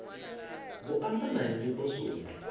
vho amba na nnyi poswoni